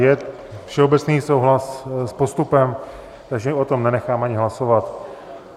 Je všeobecný souhlas s postupem, takže o tom nenechám ani hlasovat.